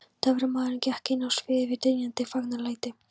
Töframaðurinn gekk inn á sviðið við dynjandi fagnaðarlæti.